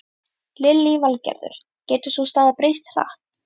Lillý Valgerður: Getur sú staða breyst hratt?